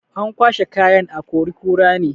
An kwashai kayan a akori-kura ne.